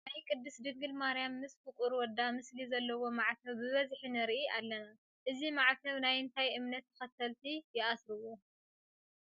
ናይ ቅድስት ድንግል ማርያም ምስ ፍቑር ወዳ ምስሊ ዘለዎ ማዕተብ ብብዝሒ ንርኢ ኣለና፡፡ እዚ ማዕተብ ናይ እንታይ እምነት ተኸተልቲ ይኣስርዎ?